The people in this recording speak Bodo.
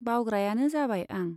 बावग्रायानो जाबाय आं।